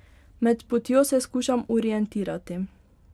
Med potjo se skušam orientirati.